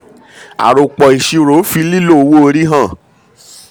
àròpọ̀-ìṣirò fi lílo owó orí hàn.